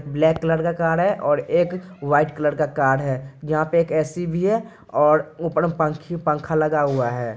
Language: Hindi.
ब्लैक कलर का कार है और एक वाइट कलर का कार है यहाँ पे एक ए.सी. भी है और ऊपर पंखी पंखा लगा हुआ है।